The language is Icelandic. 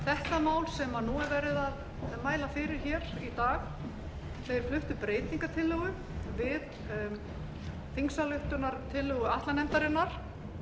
flytja þetta mál sem nú er verið að mæla fyrir í dag fluttu breytingartillögu við þingsályktunartillögu atlanefndarinnar